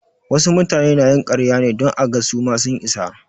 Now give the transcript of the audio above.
Wasu mutane na yin ƙarya ne don aga su ma sun isa.